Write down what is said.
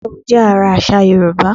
Ìgbéyàwó jẹ́ ara àṣà Yorùbá